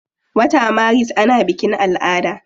Wata maris ana bikin ala'ada.